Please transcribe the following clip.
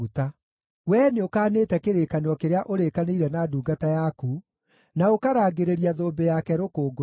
Wee nĩũkanĩte kĩrĩkanĩro kĩrĩa ũrĩkanĩire na ndungata yaku, na ũkarangĩrĩria thũmbĩ yake rũkũngũ-inĩ.